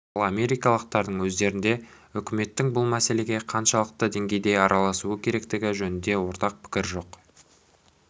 ал америкалықтардың өздерінде үкіметтің бұл мәселеге қаншалықты деңгейде араласуы керектігі жөнінде ортақ пікір жоқ